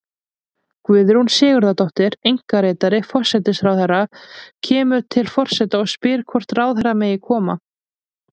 Guðrún Sigurðardóttir, einkaritari forsætisráðherra, kemur til forseta og spyr hvort ráðherra megi koma.